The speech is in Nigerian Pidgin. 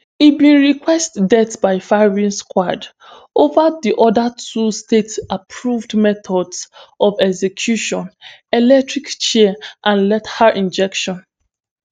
e bin request death by firing squad ova di oda two stateapproved methods of execution electric chair and lethal injection